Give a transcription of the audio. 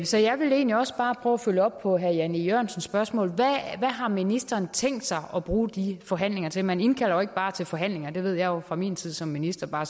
så jeg vil egentlig også bare prøve at følge op på herre jan e jørgensens spørgsmål hvad har ministeren tænkt sig at bruge de forhandlinger til man indkalder jo ikke bare til forhandlinger det ved jeg jo fra min tid som minister bare